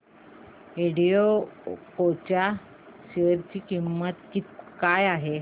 एल्डेको च्या शेअर ची किंमत काय आहे